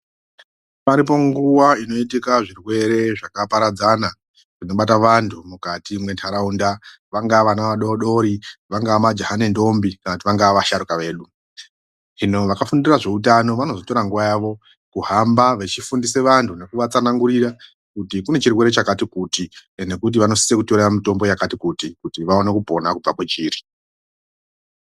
Paripo nguwa inotika zvirwere zvakaparadzana zvinobata vantu mukati mwenharaunda. Vangaa vana vadori dori, vangaa majaha nendombi kana vangaa vasharuka vedu. Hino vakafundira zveutano vanotora nguwa yavo kuhamba vechifundisa vantu kuti kune chirwere chakati kuti. Nekuti vanosisa kutora mitombo yakati kuti, kuti vaone kupona kubva kwechiri.